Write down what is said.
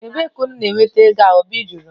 Ebee ka unu na-ahụ ego a? Obi jụrụ m